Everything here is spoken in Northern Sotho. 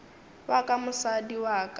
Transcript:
wa ka mosadi wa ka